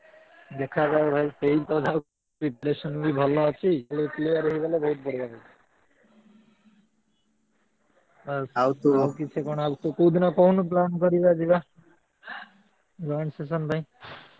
ଦେଖାଯାଉ ଭାଇ ହେଇତ ଯାଉ preparation ବି ଭଲ ଅଛି, ଖାଲି clear ହେଇଗଲେ ବହୁତ୍ ବଢିଆ କଥା। ଆଉ ଆଉ କିଛି କଣ ଆଉ ତୁ କୋଉ ଦିନ କହୁନୁ plan କରିବା ଯିବା? joint session ପାଇଁ।